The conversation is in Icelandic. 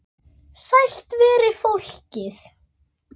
Sælt veri fólkið!